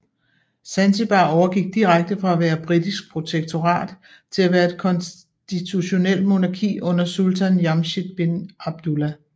Zanzibar overgik direkte fra at være britisk protektorat til at være et konstitutionelt monarki under Sultan Jamshid bin Abdullah